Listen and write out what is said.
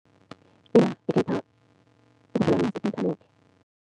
Ngikhetha ku-inthanethi.